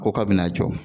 Ko k'a bɛna a jɔ